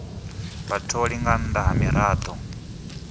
vhatholi nga nnḓa ha miraḓo